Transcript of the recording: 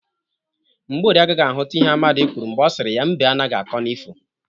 Mgborie agaghi ahụt ihe Amadị kwuru mgbe ọ siri ya 'mbe anaghị akọ n'ifo '